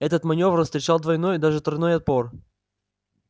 этот манёвр встречал двойной даже тройной отпор